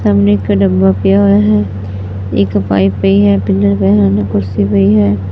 ਸਾਹਮਣੇ ਇੱਕ ਡੱਬਾ ਪਿਆ ਹੋਇਆ ਹੈ ਇੱਕ ਪਾਈਪ ਪਈ ਹੈ ਪਿੱਲਰ ਪਏ ਹਨ ਕੁਰਸੀ ਪਈ ਹੈ।